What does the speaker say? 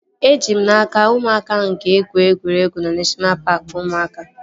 Eji m n'aka, ụmụaka ahụ ga-egwu egwuregwu na neshọna paaki ụmụaka